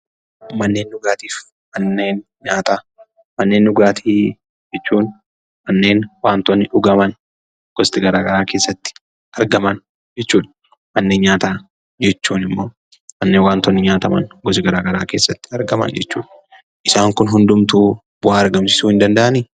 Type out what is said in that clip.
Manneen dhugaatii jechuun manneen wantoonni dhugaman gosti garaa garaa keessatti argaman jechuudha. Manneen nyaataa jechuun immoo manneen wantootni nyaataman gosti garaa garaa keessatti argaman jechuudha. Isaan kun hundumtuu bu'aa argamsiisuu hin danda'anii?